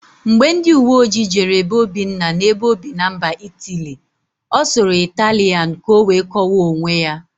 Mgbe ndịuweojii jere be Obinna na-ebe óbì na mba Itili, ọ sụrụ Ịtalịan ka ọ wee kọwaa onwe ya.